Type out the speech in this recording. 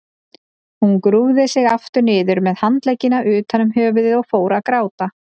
Hún grúfði sig aftur niður með handleggina utan um höfuðið og fór að gráta.